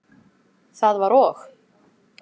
Það var og?